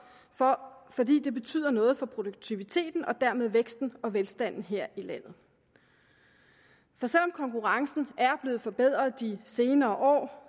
for fordi det betyder noget for produktiviteten og dermed væksten og velstanden her i landet så selv om konkurrencen er blevet forbedret de senere år